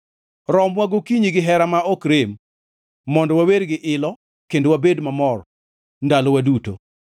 Romwa gokinyi gi herani ma ok rem, mondo wawer gi ilo kendo wabed mamor ndalowa duto.